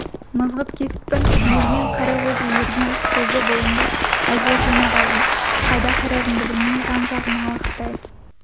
мызғып кетіппін ерген қара қозы ерген қозы бойымды әзер жинап алдым қайда қарарымды білмей жан-жағыма алақтай